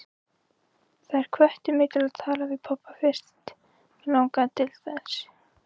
Þær hvöttu mig til að tala við pabba fyrst mig langaði til þess.